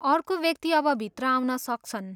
अर्को व्यक्ति अब भित्र आउन सक्छन्!